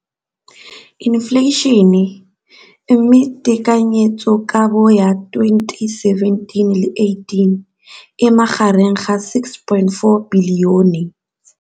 Infleišene, mme tekanyetsokabo ya 2017, 18, e magareng ga R6.4 bilione.